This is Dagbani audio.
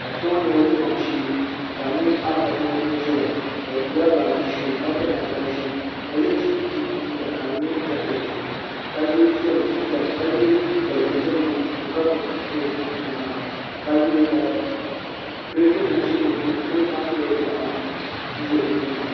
Kpɛ ŋo nyɛla dimaŋ shee ka n nyɛ afa so ni ʒɛya o gbubila baaji ʒiɛ ka piri namda ʒiɛ ka yɛ chinchin liiga ka di nyɛ jakɛt ka so di jinjɛm ka yɛ liiga dozim niŋ puuni ka gbubi dozim o nyaanga a yuli ka kirɛt nim ʒɛ di puuni kirɛ nim maa nyɛla dibanu ʒɛ o tooni